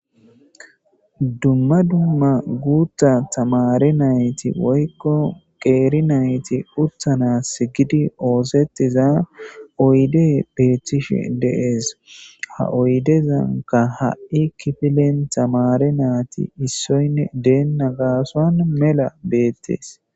Dumma dumma guutta tamare nayti woykko qeeri nayti uttana si gidi oosetiza oyde beettishe dees ha oydezanka ha'i kifilen tamare naati issoynne deenna gaasoan mela beettees.